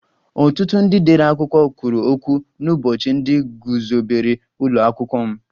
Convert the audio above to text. Ọtụtụ ndị dere akwụkwọ kwuru okwu n'ụbọchị ndị guzobere ụlọ akwụkwọ m